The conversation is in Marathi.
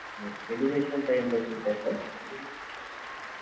education का importance आहे sir